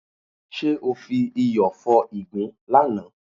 Ṣé o fi iyọ̀ fọ ìgbín lánàá?